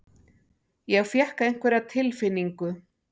Ég fékk einhverja tilfinningu.